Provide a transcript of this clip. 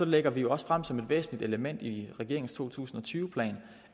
lægger vi også frem som et væsentligt element i regeringens to tusind og tyve plan